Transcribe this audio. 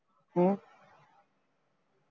ਹਮ